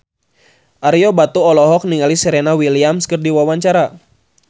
Ario Batu olohok ningali Serena Williams keur diwawancara